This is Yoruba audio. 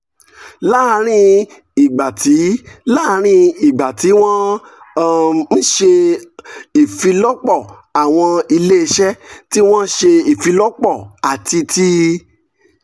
láàárín ìgbà tí láàárín ìgbà tí wọ́n um ń ṣe um ìfilọ́pọ̀ àwọn iléeṣẹ́ tí wọ́n ń ṣe ìfilọ́pọ̀ àti tí